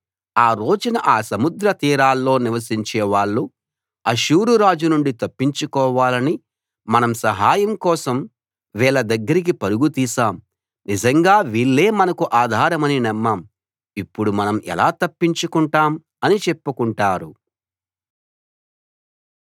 ఆ రోజున ఆ సముద్ర తీరాల్లో నివసించే వాళ్ళు అష్షూరు రాజు నుండి తప్పించుకోవాలని మనం సహాయం కోసం వీళ్ళ దగ్గరకి పరుగు తీశాం నిజంగా వీళ్ళే మనకు ఆధారమని నమ్మాం ఇప్పుడు మనం ఎలా తప్పించుకుంటాం అని చెప్పుకుంటారు